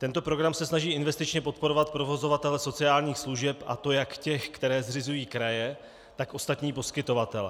Tento program se snaží investičně podporovat provozovatele sociálních služeb, a to jak ty, které zřizují kraje, tak ostatní poskytovatele.